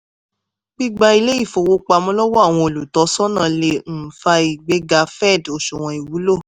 gbígba ilé-ìfowópamọ́ lọ́wọ́ àwọn olùtọ́sọ́nà lè um fa ìgbéga fed òṣùwọ̀n ìwúlò.